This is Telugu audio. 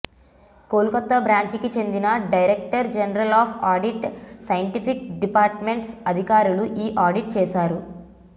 కోల్కతా బ్రాంచికి చెందిన director general of audit scientific departments అధికారులు ఈ ఆడిట్ చేశారు